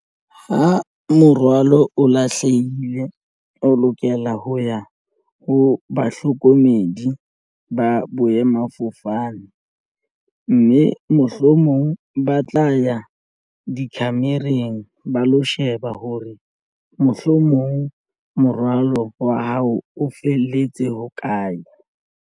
Ho morwalo o lahlehile o lokela ho ya ho bahlokomedi ba boemafofane mme mohlomong ba tla ya dikhemereng ba lo sheba hore mohlomong morwalo wa hao o felletse hokae.